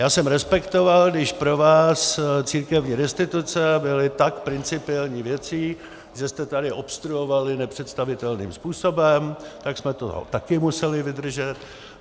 Já jsem respektoval, když pro vás církevní restituce byly tak principiální věcí, že jste tady obstruovali nepředstavitelným způsobem, tak jsme to také museli vydržet.